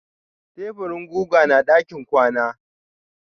Taburin guga na ɗakin kwana.